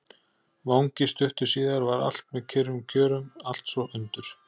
vangi stuttu síðar var allt með kyrrum kjörum, allt svo undur